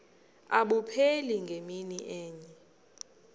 abupheli ngemini enye